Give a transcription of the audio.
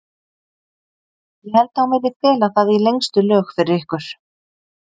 Ég held að hún vilji fela það í lengstu lög fyrir ykkur.